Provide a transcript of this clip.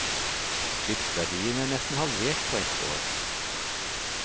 Skipsverdiene er nesten halvert på ett år.